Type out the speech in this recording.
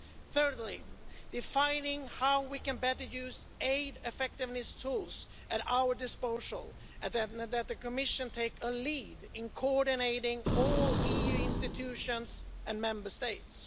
Thirdly, defining how we can better use aid effectiveness tools at our disposal and that the Commission take a lead in coordinating all EU institutions and Member States.